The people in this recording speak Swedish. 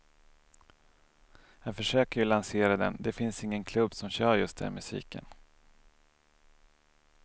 Jag försöker ju lansera den, det finns ingen klubb som kör just den musiken.